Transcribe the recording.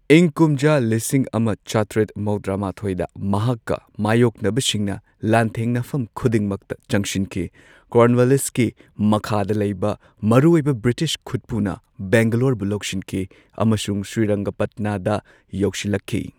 ꯏꯪ ꯀꯨꯝꯖꯥ ꯂꯤꯁꯤꯡ ꯑꯃ ꯆꯥꯇ꯭ꯔꯦꯠ ꯃꯧꯗ꯭ꯔꯥ ꯃꯥꯊꯣꯏꯗ ꯃꯍꯥꯛꯀ ꯃꯥꯌꯣꯛꯅꯕꯁꯤꯡꯅ ꯂꯥꯟꯊꯦꯡꯅꯐꯝ ꯈꯨꯗꯤꯡꯃꯛꯇ ꯆꯪꯁꯤꯟꯈꯤ꯫ ꯀꯣꯔꯟꯋꯥꯂꯤꯁꯀꯤ ꯃꯈꯥꯗ ꯂꯩꯕ ꯃꯔꯨꯑꯣꯏꯕ ꯕ꯭ꯔꯤꯇꯤꯁ ꯈꯨꯠꯄꯨꯅ ꯕꯦꯡꯒꯂꯣꯔꯕꯨ ꯂꯧꯁꯤꯟꯈꯤ ꯑꯃꯁꯨꯡ ꯁ꯭ꯔꯤꯔꯪꯒꯄꯠꯅꯥꯗ ꯌꯧꯁꯤꯜꯂꯛꯈꯤ꯫